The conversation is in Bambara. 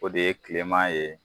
O de ye kileman ye